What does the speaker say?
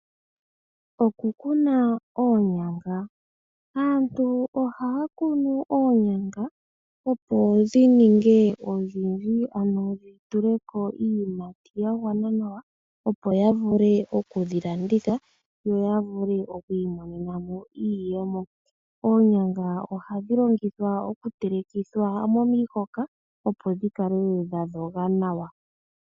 Aantu ohaya kunu oonyanga opo dhininge odhindji ano dhituleko iiyimati opo yavule okudhilanditha yo yavule okwiimonena mo iiyemo . Oonyanga ohadhi longithwa okutelekithwa momihoka opo dhikale dhadhoga nawa.